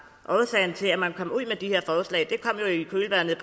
årsagen til at man kom ud